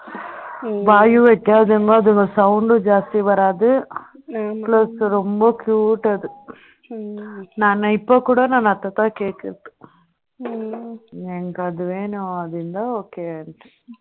வாய் வைக்காது அதோட sound டும் ஜாஸ்தியா வராது plus ரொம்ப cute அது நான் இப்போ கூட நான் அதுதான் கேட்கிறது எனக்கு அது வேண்டும் அது இருந்தா okay